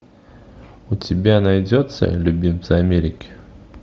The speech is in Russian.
у тебя найдется любимцы америки